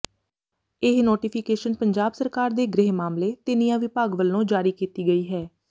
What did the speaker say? ਇਹ ਨੋਟੀਫਿਕੇਸ਼ਨ ਪੰਜਾਬ ਸਰਕਾਰ ਦੇ ਗ੍ਰਹਿ ਮਾਮਲੇ ਤੇ ਨਿਆਂ ਵਿਭਾਗ ਵੱਲੋਂ ਜਾਰੀ ਕੀਤੀ ਗਈ ਹੈ